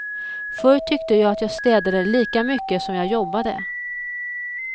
Förr tyckte jag att jag städade lika mycket som jag jobbade.